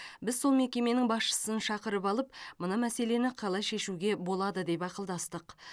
біз сол мекеменің басшысын шақырып алып мына мәселені қалай шешуге болады деп ақылдастық